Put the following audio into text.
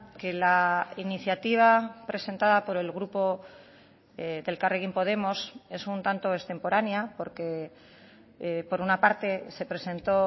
que la iniciativa presentada por el grupo de elkarrekin podemos es un tanto extemporánea porque por una parte se presentó